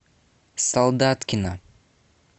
солдаткина